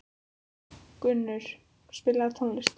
Gunnur, spilaðu tónlist.